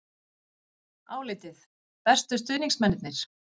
Álitið: Bestu stuðningsmennirnir?